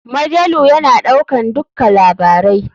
Majalu ya na ɗaukan dukka labarai.